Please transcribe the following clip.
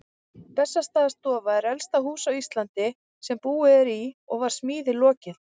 Bessastaðastofa er elsta hús á Íslandi sem búið er í og var smíði lokið